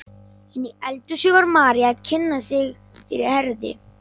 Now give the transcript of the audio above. Inni í eldhúsi var María að kynna sig fyrir Herði.